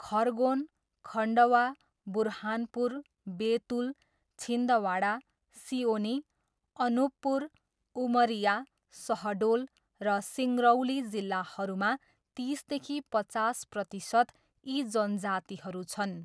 खरगोन, खन्डवा, बुरहानपुर, बेतुल, छिन्दवाडा, सिओनी, अनुपपुर, उमरिया, सहडोल र सिङ्गरौली जिल्लाहरूमा तिसदेखि पचास प्रतिशत यी जनजातिहरू छन्।